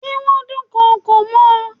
Ṣé wón dùn kokò mọ́ ọ.